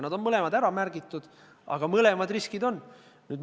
Need mõlemad on ära märgitud, mõlemad riskid on võimalikud.